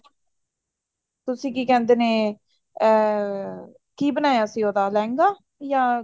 ਤੁਸੀਂ ਕੀ ਕਹਿੰਦੇ ਨੇ ਅਮ ਕੀ ਬਣਾਇਆ ਸੀ ਲਹਿੰਗਾ ਜਾਂ